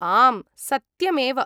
आम्, सत्यमेव।